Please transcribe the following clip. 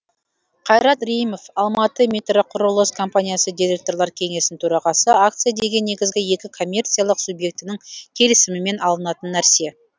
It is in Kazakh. қайрат рейімов алматыметроқұрылыс компаниясы директорлар кеңесінің төрағасы акция деген негізгі екі коммерциялық субъектінің келісімімен алынатын нәрсе